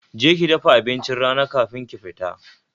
Je ki dafa abincin rana kafin ki fita